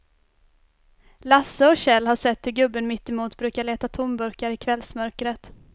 Lasse och Kjell har sett hur gubben mittemot brukar leta tomburkar i kvällsmörkret.